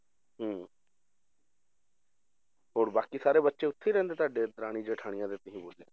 ਹਮ ਹੋਰ ਬਾਕੀ ਸਾਰੇ ਬੱਚੇ ਉੱਥੇ ਹੀ ਰਹਿੰਦੇ ਤੁਹਾਡੇ ਦਰਾਣੀ ਜੇਠਾਣੀ ਕਿਸੇ ਹੋਰ ਦੇ?